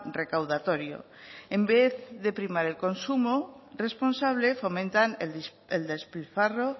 recaudatorio en vez de primar el consumo responsable fomentan el despilfarro